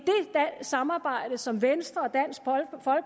samarbejde som venstre